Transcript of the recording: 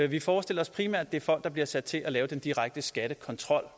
vi forestiller os primært at det er folk der bliver sat til at lave den direkte skattekontrol